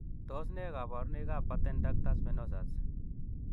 Tos nee koborunoikab Patent ductus venosus?